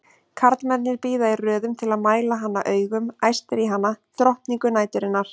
Karlmennirnir bíða í röðum til að mæla hana augum, æstir í hana, drottningu næturinnar!